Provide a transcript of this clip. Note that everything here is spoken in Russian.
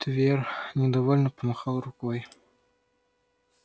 твер недовольно помахал рукой